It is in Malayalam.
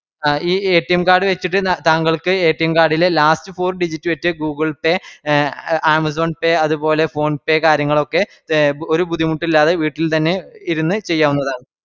ഈ card വെച്ചിട്ട് താങ്കൾക്ക് card ലെ last four digit വെച് google pay, amazon pay അത്പോലെ phone pe കാര്യങ്ങളൊക്കെ ഒര് ബുദ്ധിമുട്ടില്ലാതെ വീട്ടിൽ തന്നെ ഇരുന്ന് ചെയ്യാവുന്നതാണ്